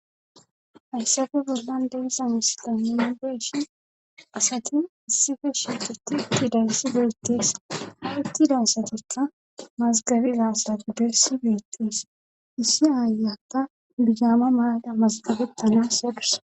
hayssafe bollan de'iza misda minu geshi asati issi geshetutiti dayssi beyttees aitti dansatikka mazgabizaasra gudeissi beyttees issi aayata bigaama maaqa mazgabettanas yadus